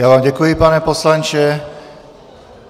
Já vám děkuji, pane poslanče.